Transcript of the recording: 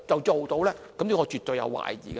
這我絕對有懷疑的。